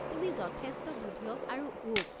তুমি যথেষ্ট বুধিয়ক আৰু ৱোক।